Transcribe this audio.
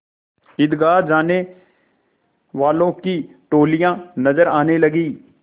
ईदगाह जाने वालों की टोलियाँ नजर आने लगीं